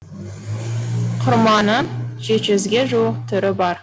құрманың жеті жүзге жуық түрі бар